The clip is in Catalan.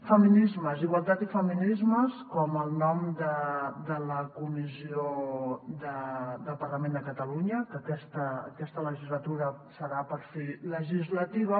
feminismes igualtat i feminismes com el nom de la comissió del parlament de catalunya que aquesta legislatura serà per fi legislativa